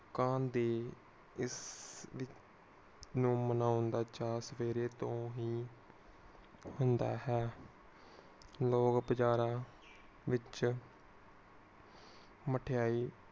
ਦੀ ਇਸ ਨੂੰ ਮਨੌਣ ਦਾ ਚਾਅ ਸਵੇਰੇ ਤੋਂ ਹੀ ਹੁੰਦਾ ਹੈ ਲੋਕ ਬਜ਼ਾਰਾਂ ਵਿਚ ਮਠਿਆਈ